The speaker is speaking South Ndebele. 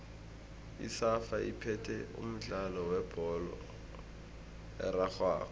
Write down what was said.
isafa iphethe umdlalo webholo erarhwako